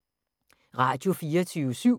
Radio24syv